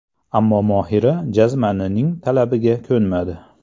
Ammo Mohira jazmanining talabiga ko‘nmadi.